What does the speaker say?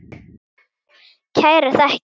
Kærar þakkir